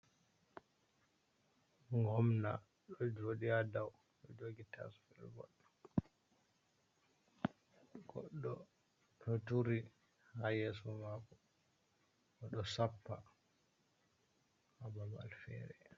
Gomna ɗo joɗi ha ɗau, ɗo jogi tasbirgol, goɗɗo ɗo turi ha yeso mako bo ɗo sappa ha babal fere.